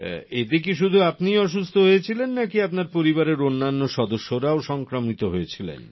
এতে কি শুধু আপনিই অসুস্থ হয়েছিলেন নাকি আপনার পরিবারের অন্যান্য সদস্যরাও সংক্রমিত হয়েছিলেন